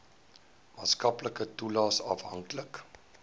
maatskaplike toelaes afhanklik